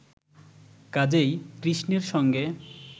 কাজেই কৃষ্ণের সঙ্গে